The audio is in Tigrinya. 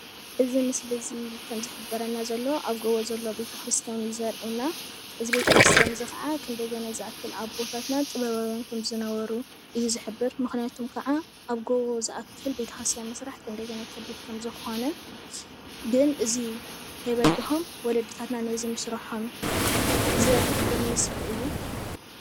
እዚ ምስሊ እዚ ዝሕብረና ዘሎ ኣብ ጎቦ ዘሎ ቤተክርስትያን ዘርእየና፡፡ እዚ ቤተክርስትያን እዚ ከዓ ክንደየናይ ከምዝኣክል ኣቦታትና ጥበባዊያን ከም ዝነበሩ እዩ ዝሕብር፡፡ ምክንያቱ ከዓ ኣብ ጎቦ ዝኣክል ቤተክርስትያን ምስራሕ ከንደየናይ ከቢድ ከም ዝኮነ ግን እዚ ከይበደሆም ወለድታትና ነዚ ምስረሖም ዝሕብር ምስሊ እዩ፡፡